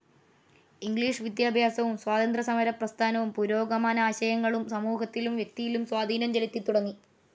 English വിദ്യാഭ്യാസവും സ്വാതന്ത്ര്യസമരപ്രസ്ഥാനവും പുരോഗമനാശയങ്ങളും സമൂഹത്തിലും വ്യക്തിയിലും സ്വാധീനം ചെലുത്തിത്തുടങ്ങി.